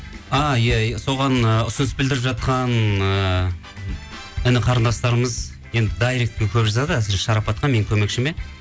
а иә соған ы ұсыныс білдіріп жатқан ы іні қарындастарымыз енді дайректке көп жазады әсіресе шарапатқа менің көмекшіме